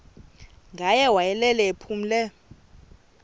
ngaye wayelele ephumle